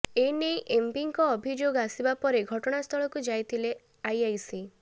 ଏନେଇ ଏମ୍ପିଙ୍କ ଅଭିଯୋଗ ଆସିବା ପରେ ଘଟଣାସ୍ଥଳକୁ ଯାଇଥିଲେ ଆଇଆଇସି